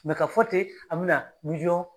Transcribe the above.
Mɛ k'a fɔ ten an bɛna miliyɔn